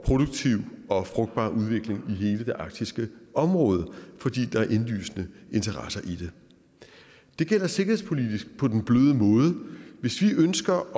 produktiv og frugtbar udvikling i hele det arktiske område fordi der er indlysende interesser i det det gælder sikkerhedspolitisk på den bløde måde hvis vi ønsker at